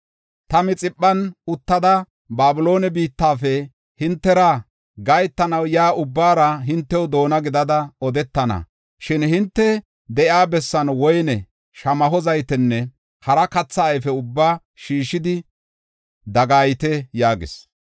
Ta Mixiphan uttada, Babiloone biittafe hintera gahetanaw yaa ubbaara hinte doona gidada odetana. Shin hinte de7iya bessan woyne, shamaho zaytenne hara katha ayfe ubbaa shiishidi dagayite” yaagis.